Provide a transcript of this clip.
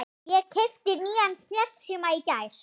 Ég keypti nýjan snjallsíma í gær.